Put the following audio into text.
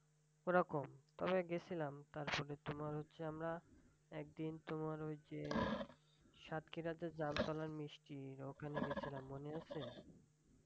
ওরকম তবে গেছিলাম। তারপরে তোমার হচ্ছে আমরা একদিন তোমার ঐযে সাতক্ষীরাতেই জাম তলার মিষ্টি ওখানে গেছিলাম মনে আছে?